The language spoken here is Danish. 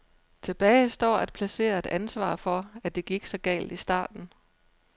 Tilbage står at placere et ansvar for, at det gik så galt i starten.